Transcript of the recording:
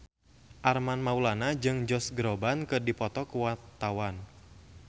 Armand Maulana jeung Josh Groban keur dipoto ku wartawan